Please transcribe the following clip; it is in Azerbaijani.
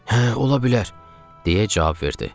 Hə, ola bilər, deyə cavab verdi.